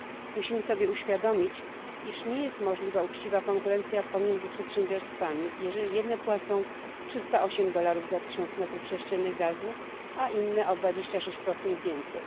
Musimy sobie uświadomić, iż nie jest możliwa uczciwa konkurencja pomiędzy przedsiębiorstwami, jeżeli jedne płacą 308 dolarów za 1000 metrów sześciennych gazu, a inne o 26 więcej.